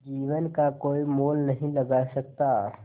जीवन का कोई मोल नहीं लगा सकता